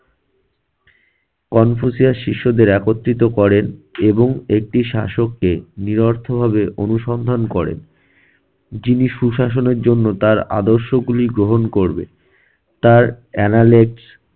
Confucius শিশুদের একত্রিত করেন এবং একটি শাসক কে নিরর্থ ভাবে অনুসন্ধান করেন। যিনি সুশাসনের জন্য তার আদর্শগুলি গ্রহণ করবে তার analyse